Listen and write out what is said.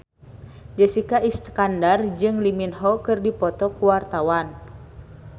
Jessica Iskandar jeung Lee Min Ho keur dipoto ku wartawan